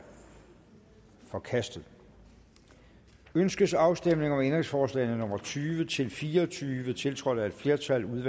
forkastet ønskes afstemning om ændringsforslagene nummer tyve til fire og tyve tiltrådt af et flertal